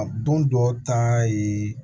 A don dɔw ta ye